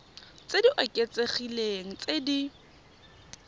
tse di oketsegileng tse di